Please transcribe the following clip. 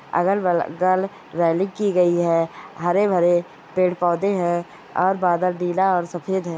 अगल बग-गल रेलिंग की गयी है हरे भरे पेड़ पौधे है और बादल नीला और सफ़ेद है।